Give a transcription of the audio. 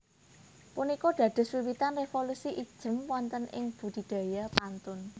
Punika dados wiwitanipun révolusi ijem wonten ing budidaya pantun